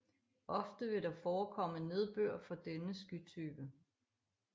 Ofte vil der forekomme nedbør fra denne skytype